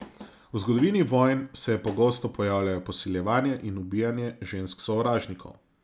V zgodovini vojn se je pogosto pojavljalo posiljevanje in ubijanje žensk sovražnikov.